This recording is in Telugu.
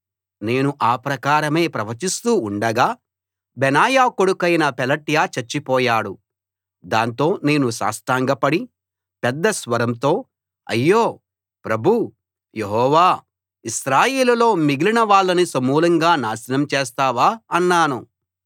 నేను ఆ ప్రకారమే ప్రవచిస్తూ ఉండగా బెనాయా కొడుకైన పెలట్యా చచ్చిపోయాడు దాంతో నేను సాష్టాంగపడి పెద్ద స్వరంతో అయ్యో ప్రభూ యెహోవా ఇశ్రాయేలులో మిగిలిన వాళ్ళని సమూలంగా నాశనం చేస్తావా అన్నాను